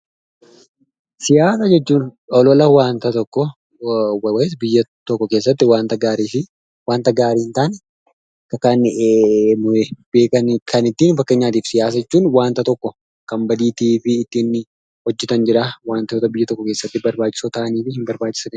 Siyaasa jechuun oloola wanta tokko biyya keessatti wantaa gaariifi waanta gaarii hin taane yookaan kan badii ta'aniif hin taane waantoota biyyaa tokko keessatti barbachisoo ta'annifi hin taane.